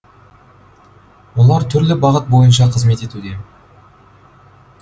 олар түрлі бағыт бойынша қызмет етуде